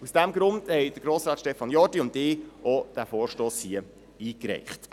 Aus diesem Grund haben Grossrat Stefan Jordi und ich diesen Vorstoss hier eingereicht.